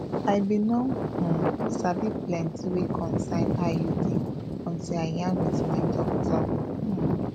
i bin no um sabi plenti wey concern iud until i yarn wit my doctor um